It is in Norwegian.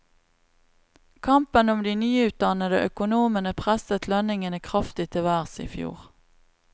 Kampen om de nyutdannede økonomene presset lønningene kraftig til værs i fjor.